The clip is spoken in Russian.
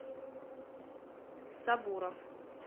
сабуров